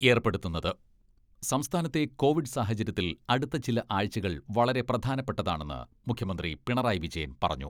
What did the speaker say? ഏർപ്പെടുത്തുന്നത് സംസ്ഥാനത്തെ കോവിഡ് സാഹചര്യത്തിൽ അടുത്ത ചില ആഴ്ചകൾ വളരെ പ്രധാനപ്പെട്ടതാണെന്ന് മുഖ്യമന്ത്രി പിണറായി വിജയൻ പറഞ്ഞു.